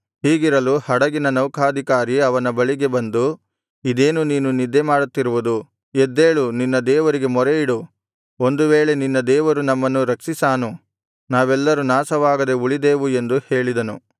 ಹೀಗಿರಲು ಹಡಗಿನ ನೌಕಾಧಿಕಾರಿ ಅವನ ಬಳಿಗೆ ಬಂದು ಇದೇನು ನೀನು ನಿದ್ದೆಮಾಡುತ್ತಿರುವುದು ಎದ್ದೇಳು ನಿನ್ನ ದೇವರಿಗೆ ಮೊರೆಯಿಡು ಒಂದು ವೇಳೆ ನಿನ್ನ ದೇವರು ನಮ್ಮನ್ನು ರಕ್ಷಿಸಾನು ನಾವೆಲ್ಲರು ನಾಶವಾಗದೆ ಉಳಿದೇವು ಎಂದು ಹೇಳಿದನು